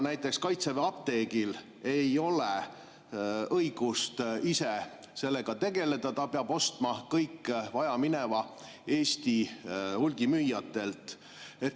Näiteks ei ole Kaitseväe apteegil õigust ise sellega tegeleda, ta peab ostma kõik vajamineva Eesti hulgimüüjatelt.